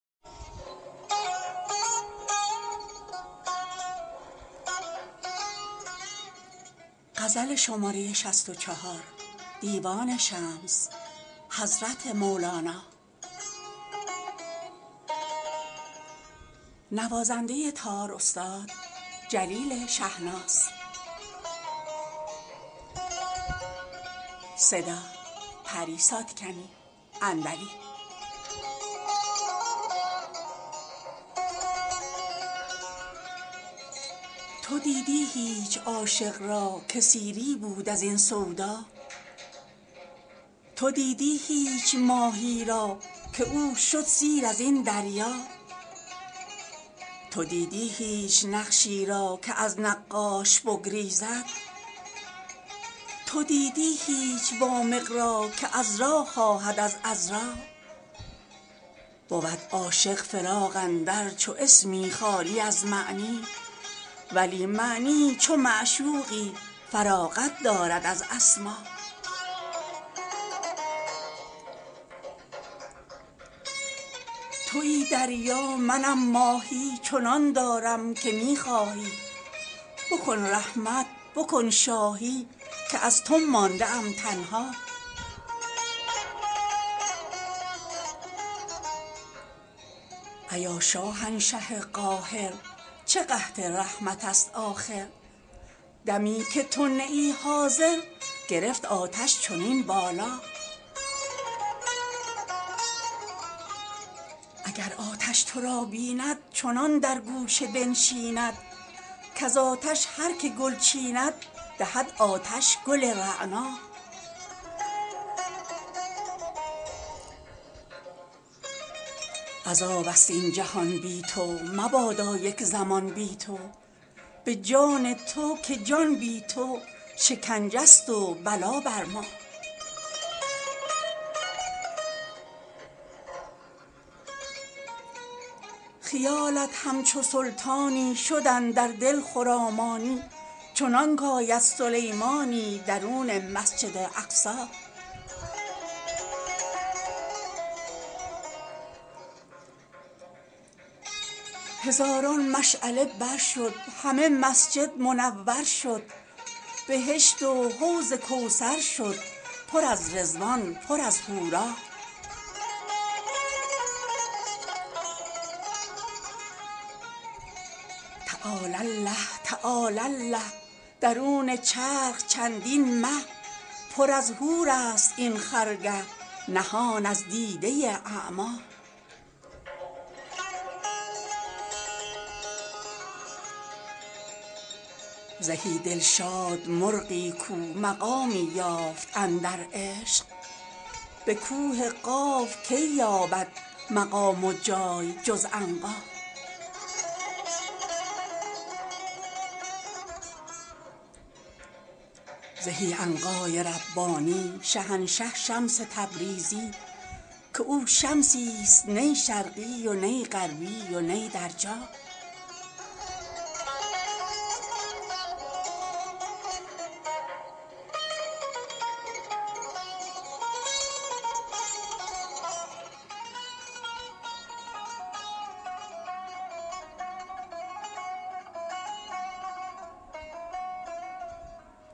تو دیدی هیچ عاشق را که سیری بود از این سودا تو دیدی هیچ ماهی را که او شد سیر از این دریا تو دیدی هیچ نقشی را که از نقاش بگریزد تو دیدی هیچ وامق را که عذرا خواهد از عذرا بود عاشق فراق اندر چو اسمی خالی از معنی ولی معنی چو معشوقی فراغت دارد از اسما توی دریا منم ماهی چنان دارم که می خواهی بکن رحمت بکن شاهی که از تو مانده ام تنها ایا شاهنشه قاهر چه قحط رحمت ست آخر دمی که تو نه ای حاضر گرفت آتش چنین بالا اگر آتش تو را بیند چنان در گوشه بنشیند کز آتش هر که گل چیند دهد آتش گل رعنا عذاب ست این جهان بی تو مبادا یک زمان بی تو به جان تو که جان بی تو شکنجه ست و بلا بر ما خیالت همچو سلطانی شد اندر دل خرامانی چنانک آید سلیمانی درون مسجد اقصی هزاران مشعله بر شد همه مسجد منور شد بهشت و حوض کوثر شد پر از رضوان پر از حورا تعالی الله تعالی الله درون چرخ چندین مه پر از حورست این خرگه نهان از دیده اعما زهی دلشاد مرغی کو مقامی یافت اندر عشق به کوه قاف کی یابد مقام و جای جز عنقا زهی عنقای ربانی شهنشه شمس تبریزی که او شمسی ست نی شرقی و نی غربی و نی در جا